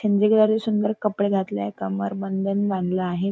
सुंदर कपडे घातले आहे कमरबंद बांधला आहे.